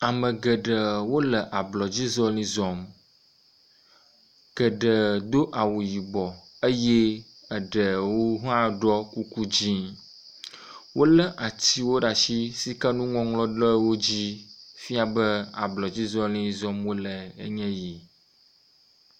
Ame geɖee wole ablɔdzi zɔli zɔm, geɖe do awu yibɔ eye eɖewo hã ɖɔ kuku dzɛ̃. Wolé atiwo ɖe asi sike nuŋɔŋlɔ le wo dzi fia be ablɔdzi zɔli zɔm wole enye yi.